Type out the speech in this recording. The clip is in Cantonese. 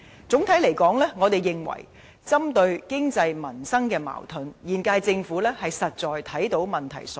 整體來說，我們認為針對經濟、民生的矛盾，現屆政府是看到問題所在。